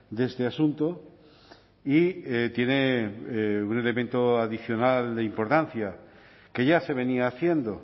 de este asunto y tiene un elemento adicional de importancia que ya se venía haciendo